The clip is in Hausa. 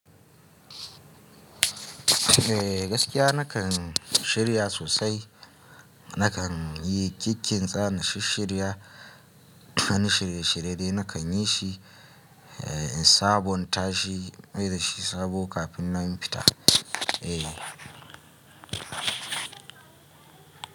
Eh gaskiya nakan shirya sosai, nakan yi kikkintsa, na shishshirya, wani shirye shirye dai nakan yi shi. Eh in sabonta shi, in mai da shi sabo kafin nan na fita. Eh.